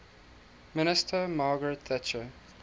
minister margaret thatcher